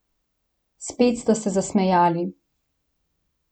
Spet sta se zasmejali.